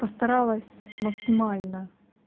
постаралась максимально